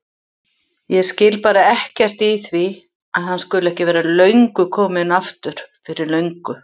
Ég skil bara ekkert í því að hann skuli ekki vera kominn aftur fyrir löngu.